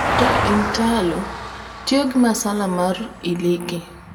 to intalo tiyo gi masala makar iliki